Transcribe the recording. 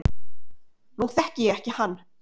Nú þekki ég ekki hann